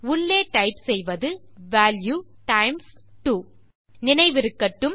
உள்ளே டைப் செய்வது value times 2 நினைவிருக்கட்டும்